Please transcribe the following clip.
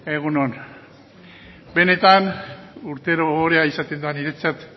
egun on benetan urtero ohorea izaten da niretzat